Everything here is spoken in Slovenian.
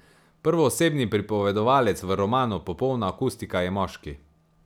Prvoosebni pripovedovalec v romanu Popolna akustika je moški.